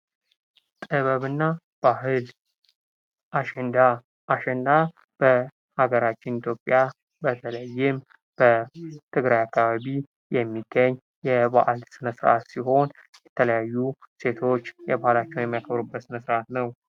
ጥበብና ባህል አሸንዳ በሀገራችን ኢትዮጵያ በተለይም በትግራይ አካባቢ የሚገኝ የባህል ፌስቲቫል ሲሆን ሴቶች የተለያዩ የተለያዩ ነገሮችን የሚያከብሩበት ስነ-ስርዓት ነው።